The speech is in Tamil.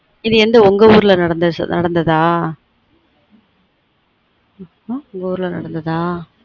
இது எந்த உங்க ஊர்ல நடந்ததா ம் உங்க ஊர்ல நடந்ததா